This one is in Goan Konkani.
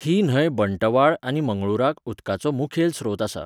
ही न्हंय बंटवाळ आनी मंगळूराक उदकाचो मुखेल स्रोत आसा.